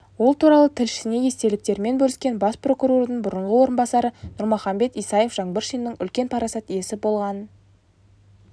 ол туралы тілшісіне естеліктерімен бөліскен бас прокурордың бұрынғы орынбасары нұрмаханбет исаев жаңбыршиннің үлкен парасат иесі болғанын